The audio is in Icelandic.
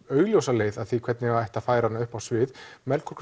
augljósa leið að því hvernig ætti að færa hana upp á svið Melkorku